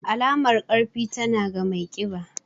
Alamar ƙarfi, tana ga mai ƙiba.